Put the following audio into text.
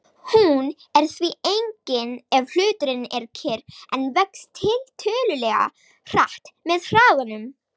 Hún er því engin ef hluturinn er kyrr en vex tiltölulega hratt með hraðanum.